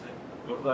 Burdayıq.